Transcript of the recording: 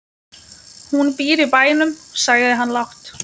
Hún býr í bænum, sagði hann lágt.